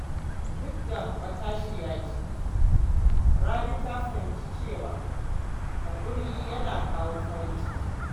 Duk da matashiya ce, Rabi ta fahimci cewa haƙuri yana kawo farin ciki.